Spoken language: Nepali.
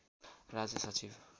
राज्य सचिव